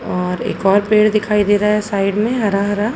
और एक और पेड़ दिखाई दे रहा है साइड में हरा- हरा --